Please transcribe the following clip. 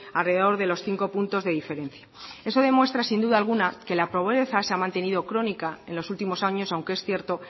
alrededor de los cinco puntos de diferencia eso demuestra sin duda alguna que la pobreza se ha mantenido crónica en los últimos años aunque es cierto